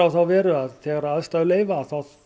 þá veru að þegar aðstæður leyfa þá